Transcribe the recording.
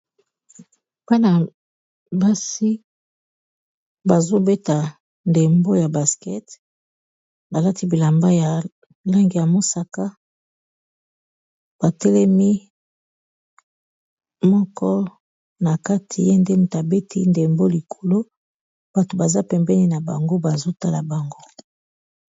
Bana basi bazobeta ndembo ya baskete balati bilamba ya langi ya mosaka batelemi moko na kati ye nde tabeti ndembo likolo bato baza pembeni na bango bazotala bango.